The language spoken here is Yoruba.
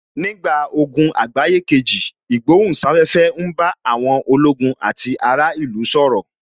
Nígbà ogun àgbáyé kejì, ìgbohùn sáfẹ́fẹ́ ń bá àwọn ológun àti ará ìlú sọ̀rọ̀